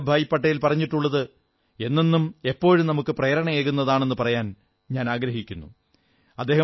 സർദാർ വല്ലഭഭായി പട്ടേൽ പറഞ്ഞിട്ടുള്ളത് എന്നെന്നും എപ്പോഴും നമുക്ക് പ്രേരണയേകുന്നതാണെന്നു പറയാൻ ഞാനാഗ്രഹിക്കുന്നു